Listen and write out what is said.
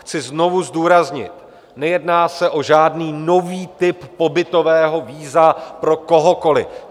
Chci znovu zdůraznit, nejedná se o žádný nový typ pobytového víza pro kohokoliv.